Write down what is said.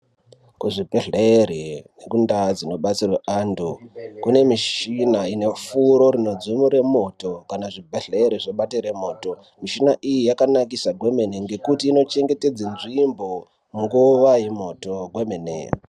Kuzvibhehleri nekundaa dzinobatsirwe antu kune michina inefuro rinodzimure moto kana zvibhehleri zvabatire moto. Michina iyi yakanakisa kwemene ngekuti inochengetedze nzvimbo nguva yemoto kwemene.